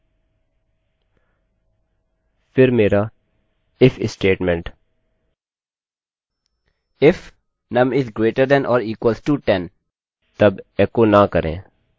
फिर मेरा if statement if num is greater than or equal to 10 then no echo यदि num 10 से बड़ा या बराबर है तब echo न करें